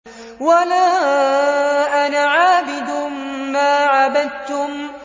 وَلَا أَنَا عَابِدٌ مَّا عَبَدتُّمْ